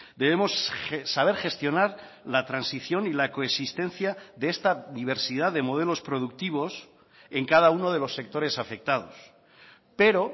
debemos saber gestionar la transición y la coexistencia de esta diversidad de modelos productivos en cada uno de los sectores afectados pero